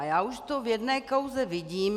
A já už to v jedné kauze vidím.